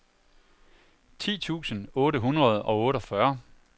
ti tusind otte hundrede og otteogfyrre